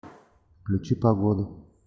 включи погоду